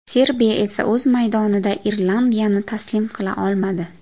Serbiya esa o‘z maydonida Irlandiyani taslim qila olmadi.